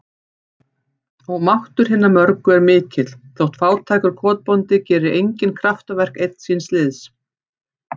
Og máttur hinna mörgu er mikill, þótt fátækur kotbóndi geri engin kraftaverk, einn síns liðs.